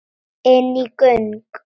Inní göng.